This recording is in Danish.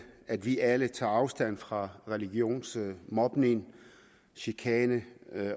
at vi alle tager afstand fra religionsmobning chikane